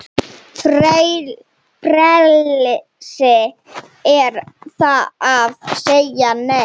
Frelsi er að segja Nei!